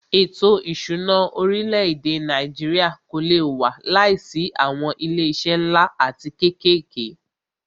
Ètò ìṣúná orílẹ̀-èdè Nàìjíríà kò lé wà láìsí awọn ilé iṣé nlá atí kékèké.